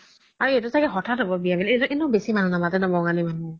আৰু ইহ'তৰ চাগে হ্থাতে হ্'ব বিয়া এনেও বেচি মনুহ নামাতে ন বঙালী মানুহ